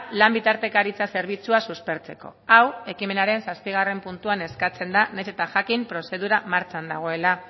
lan bitartekaritza zerbitzua suspertzeko hau ekimenaren zazpigarren puntuan eskatzen da nahiz eta jakin prozedura martxan dagoela